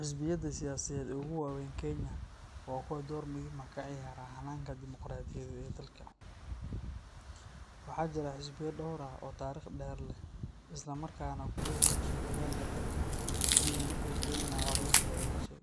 Xisbiyada siyaasadeed ee ugu waaweyn Kenya waa kuwa door muhiim ah ka ciyaara hannaanka dimuqraadiyadeed ee dalka. Waxaa jira xisbiya dhowr ah oo taariikh dheer leh isla markaana ku lug yeeshay hoggaanka dalka tan iyo markii Kenya xorriyaddeeda heshay.